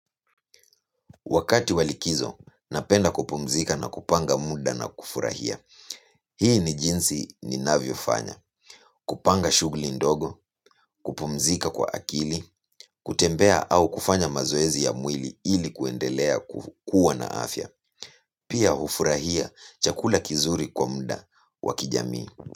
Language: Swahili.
Wakati wa likizo, napenda kupumzika na kupanga muda na kufurahia. Hii ni jinsi ninavyofanya kupanga shughuli ndogo, kupumzika kwa akili, kutembea au kufanya mazoezi ya mwili ili kuendelea kukua na afya. Pia hufurahia chakula kizuri kwa muda wa kijamii.